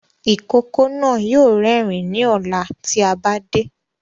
Ìkókó náà yóò rérìn ní ọ̀la ti a bá dé